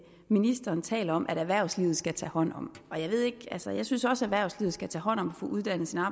ministeren taler om at erhvervslivet skal tage hånd om altså jeg synes også at erhvervslivet skal tage hånd om uddannelsen af